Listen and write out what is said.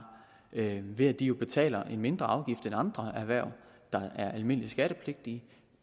ved at de jo betaler en mindre afgift end andre erhverv der er almindelig skattepligtige